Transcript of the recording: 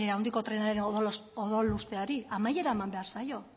handiko trenaren odolusteari amaiera eman behar zaio